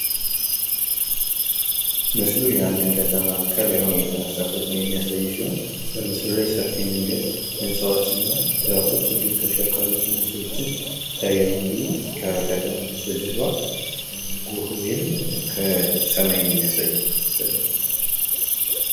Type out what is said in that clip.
ምስሉ የአንድን ከተማ ከላይ ሁኖ የተነሳን ፍቶ የሚያሳይ ሲሆን በምስሉ ላይ ሰፊ መንገድ ህንጻዎች እና ዛፎች እንዲሁም ተሽከርካሪዎች እና ሰዎች ይታያሉ። እንድሁም ከከተማው በስተጀርባ ግህ ወይም ሰማይን የሚያሳይ ምስል አለ።